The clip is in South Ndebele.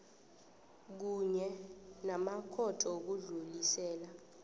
kunye namakhotho wokudlulisela